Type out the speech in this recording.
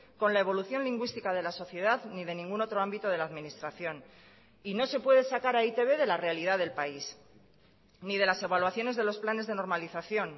con la evolución lingüística de la sociedad ni de ningún otro ámbito de la administración y no se puede sacar a e i te be de la realidad del país ni de las evaluaciones de los planes de normalización